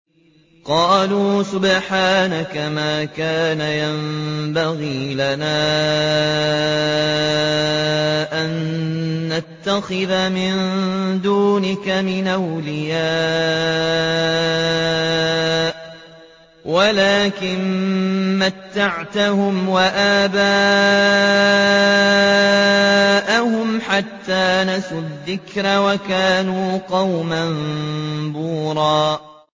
قَالُوا سُبْحَانَكَ مَا كَانَ يَنبَغِي لَنَا أَن نَّتَّخِذَ مِن دُونِكَ مِنْ أَوْلِيَاءَ وَلَٰكِن مَّتَّعْتَهُمْ وَآبَاءَهُمْ حَتَّىٰ نَسُوا الذِّكْرَ وَكَانُوا قَوْمًا بُورًا